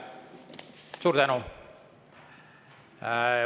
Suur tänu!